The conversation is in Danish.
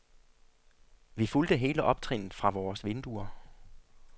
Vi fulgte hele optrinnet fra vores vinduer.